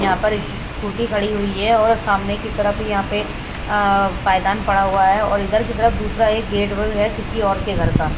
यहां पर एक क स्कूटी खड़ी हुई है और सामने की तरफ यहां पे अः पायदान पड़ा हुआ अै और इधर की तरफ दूसरा एक गेट व्य है किसी और के घर का--